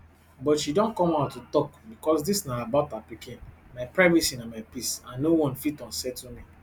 but she don come out to tok becos dis na about her pikin my privacy na my peace and no one fit unsettle me